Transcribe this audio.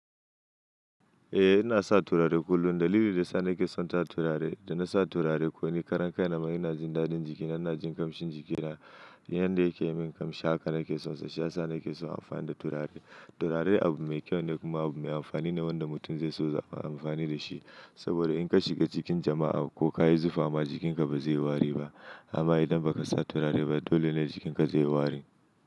Eh ina sa turare kullum dalili da sa ni ke son sa turare. Da na sa turare ko ni karan kai na ma ina jin dadin jiki na na jin kamshin jiki na. Yanda yake min kamshi haka nake son sa shiyasa nake son amfani da turare. Turare abu mai kyau ne kuma abu mai amfani ne wanda mutum zai so zaɓa amfani da shi. Saboda in ka shiga cikin jama'a ko ka yi zufa ma jikinka ba zai yi wari ba amma idan ba ka sa turare ba dole ne jikinka zai yi wari.